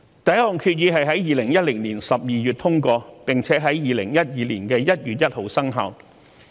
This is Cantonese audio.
第一項決議在2010年12月通過，並且在2012年1月1日生效。